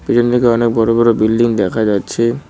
পিছন দিকে অনেক বড় বড় বিল্ডিং দেখা যাচ্ছে।